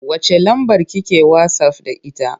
Wacce lambar ki ke wasaf da ita?